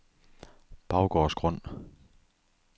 Baggårdsgrund